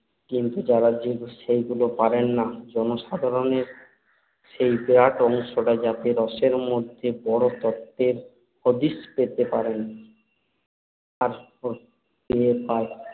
কিন্তু যাঁরা যদি সেইভাবে পারেন না, জনসাধারণের সেই বিরাট অংশটা যাতে রসের মধ্যে বড় তত্ত্বের হদিশ পেতে পারেন